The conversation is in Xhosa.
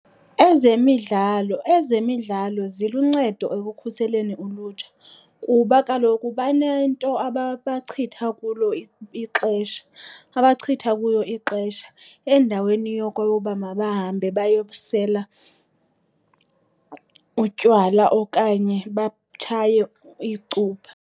Ezemidlalo, ezemidlalo ziluncedo ekukhuseleni ulutsha kuba kaloku banento abachitha kuyo ixesha endaweni yoba mabahambe bayosela utywala okanye batshaye icuba.